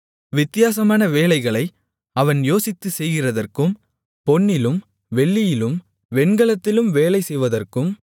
வித்தியாசமான வேலைகளை அவன் யோசித்துச் செய்கிறதற்கும் பொன்னிலும் வெள்ளியிலும் வெண்கலத்திலும் வேலைசெய்வதற்கும்